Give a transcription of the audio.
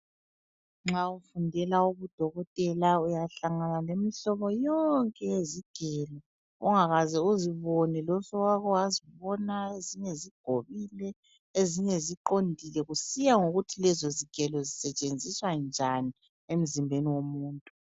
Nxa ufundela ungudokotela uyahlangana lemihlobo yonke yezigelo. Ongakaze uzibone losowake wazibona. Ezinye zigobile, ezinye ziqondile kusiya ngokuthi lezo zigelo zisetshenziswa njani emzimbeni womuntu.